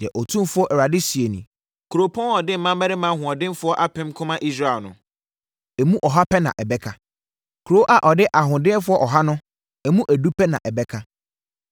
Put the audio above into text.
Deɛ Otumfoɔ Awurade seɛ nie: “Kuropɔn a ɔde mmarima ahoɔdenfoɔ apem ko ma Israel no, emu ɔha pɛ na ɛbɛka; Kuro a ɔde ahoɔdenfoɔ ɔha no, emu edu pɛ na ɛbɛka.”